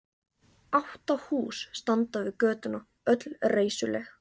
Átta hús standa við götuna, öll reisuleg.